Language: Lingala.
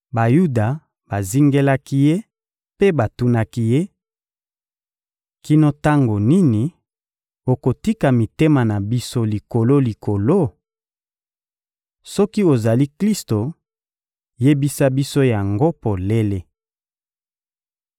Bayuda bazingelaki Ye mpe batunaki Ye: — Kino tango nini okotika mitema na biso likolo-likolo? Soki ozali Klisto, yebisa biso yango polele!